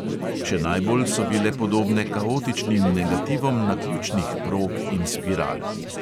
Še najbolj so bile podobne kaotičnim negativom naključnih prog in spiral.